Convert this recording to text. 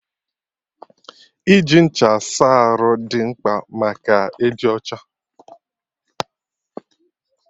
Iji ncha saa arụ dị mkpa maka ịdị ọcha